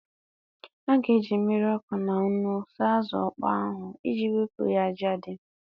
A ga-eji mmiri ọkụ na nnu saa azụ ọkpọ ahụ iji wepụ ya ájá dị.